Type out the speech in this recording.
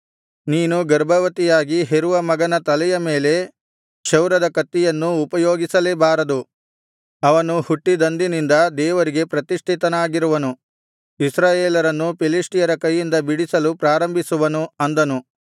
ನೀನು ಗರ್ಭವತಿಯಾಗಿ ಹೆರುವ ಮಗನ ತಲೆಯ ಮೇಲೆ ಕ್ಷೌರದ ಕತ್ತಿಯನ್ನು ಉಪಯೋಗಿಸಲೇಬಾರದು ಅವನು ಹುಟ್ಟಿದಂದಿನಿಂದ ದೇವರಿಗೆ ಪ್ರತಿಷ್ಠಿತನಾಗಿರುವನು ಇಸ್ರಾಯೇಲರನ್ನು ಫಿಲಿಷ್ಟಿಯರ ಕೈಯಿಂದ ಬಿಡಿಸಲು ಪ್ರಾರಂಭಿಸುವನು ಅಂದನು